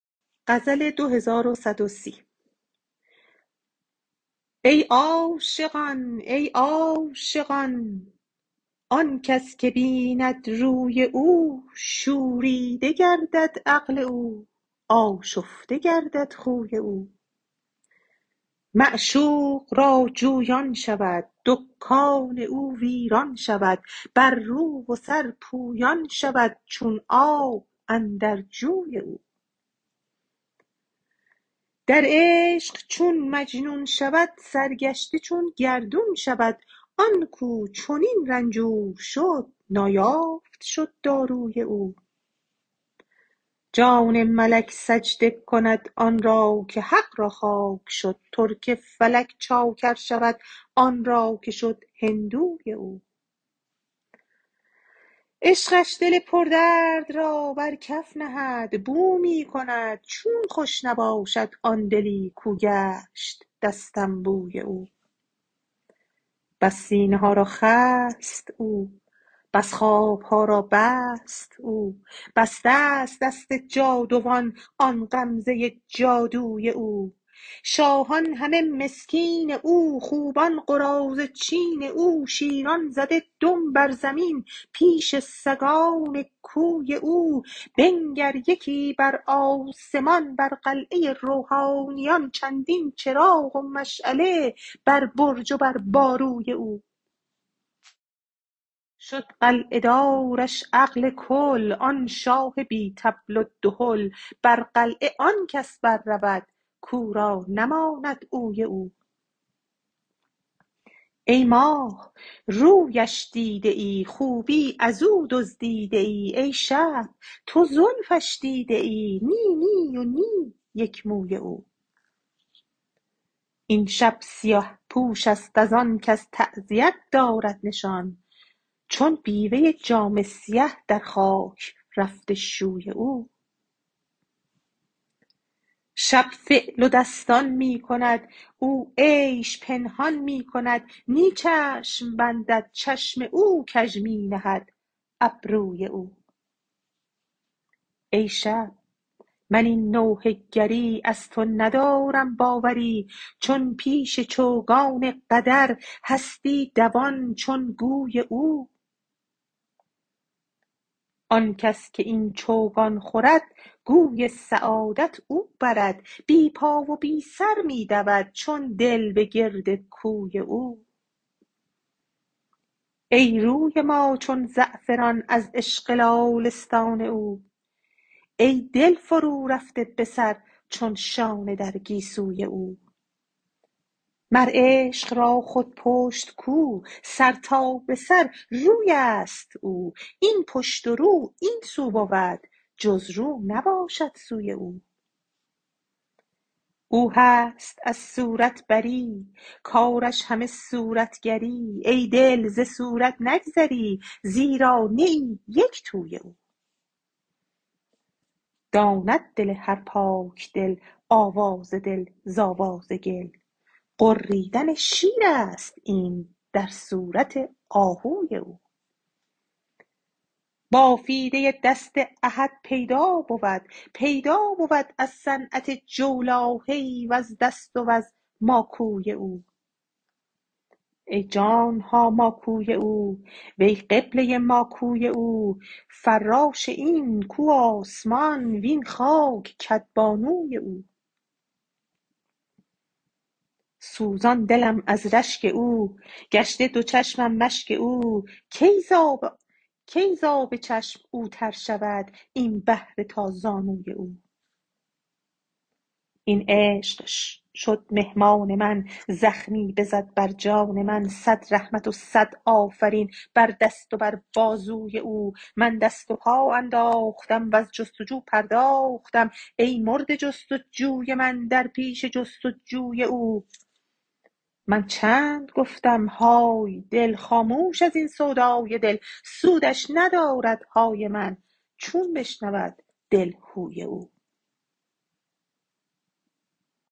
ای عاشقان ای عاشقان آن کس که بیند روی او شوریده گردد عقل او آشفته گردد خوی او معشوق را جویان شود دکان او ویران شود بر رو و سر پویان شود چون آب اندر جوی او در عشق چون مجنون شود سرگشته چون گردون شود آن کو چنین رنجور شد نایافت شد داروی او جان ملک سجده کند آن را که حق را خاک شد ترک فلک چاکر شود آن را که شد هندوی او عشقش دل پردرد را بر کف نهد بو می کند چون خوش نباشد آن دلی کو گشت دستنبوی او بس سینه ها را خست او بس خواب ها را بست او بسته ست دست جادوان آن غمزه جادوی او شاهان همه مسکین او خوبان قراضه چین او شیران زده دم بر زمین پیش سگان کوی او بنگر یکی بر آسمان بر قلعه روحانیان چندین چراغ و مشعله بر برج و بر باروی او شد قلعه دارش عقل کل آن شاه بی طبل و دهل بر قلعه آن کس بررود کو را نماند اوی او ای ماه رویش دیده ای خوبی از او دزدیده ای ای شب تو زلفش دیده ای نی نی و نی یک موی او این شب سیه پوش است از آن کز تعزیه دارد نشان چون بیوه ای جامه سیه در خاک رفته شوی او شب فعل و دستان می کند او عیش پنهان می کند نی چشم بندد چشم او کژ می نهد ابروی او ای شب من این نوحه گری از تو ندارم باوری چون پیش چوگان قدر هستی دوان چون گوی او آن کس که این چوگان خورد گوی سعادت او برد بی پا و بی سر می دود چون دل به گرد کوی او ای روی ما چون زعفران از عشق لاله ستان او ای دل فرورفته به سر چون شانه در گیسوی او مر عشق را خود پشت کو سر تا به سر روی است او این پشت و رو این سو بود جز رو نباشد سوی او او هست از صورت بری کارش همه صورتگری ای دل ز صورت نگذری زیرا نه ای یک توی او داند دل هر پاک دل آواز دل ز آواز گل غریدن شیر است این در صورت آهوی او بافیده دست احد پیدا بود پیدا بود از صنعت جولاهه ای وز دست وز ماکوی او ای جان ما ماکوی او وی قبله ما کوی او فراش این کو آسمان وین خاک کدبانوی او سوزان دلم از رشک او گشته دو چشمم مشک او کی ز آب چشم او تر شود ای بحر تا زانوی او این عشق شد مهمان من زخمی بزد بر جان من صد رحمت و صد آفرین بر دست و بر بازوی او من دست و پا انداختم وز جست و جو پرداختم ای مرده جست و جوی من در پیش جست و جوی او من چند گفتم های دل خاموش از این سودای دل سودش ندارد های من چون بشنود دل هوی او